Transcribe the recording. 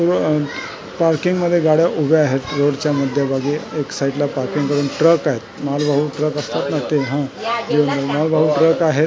अ पार्किंगमध्ये गाड्या उभ्या आहेत रोडच्या मध्यभागी एक साईडला पार्किंग करून ट्रक आहेत मालवाहू ट्रक असतात ना ते हा जे मालवाहू ट्रक आहेत .